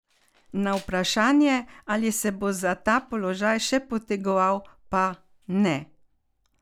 Na vprašanje, ali se bo za ta položaj še potegoval, pa: "Ne.